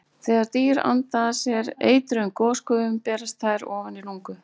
Þegar dýr anda að sér eitruðum gosgufum berast þær ofan í lungu.